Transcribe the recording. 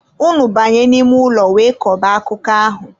Unu banye n'ime ụlọ wee kọba akụkọ ahụ!